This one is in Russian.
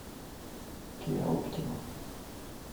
киа оптима